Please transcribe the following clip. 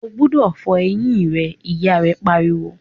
o gbúdọ̀ fọ eyín rẹ! ìyá rẹ̀ pariwo.